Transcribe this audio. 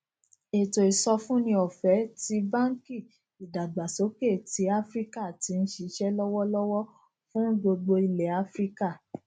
ètò ìsọfúnni ọfẹẹ ti banki idagbasoke ti afirika ti n ṣiṣẹ lọwọlọwọ fun gbogbo ilẹ afirika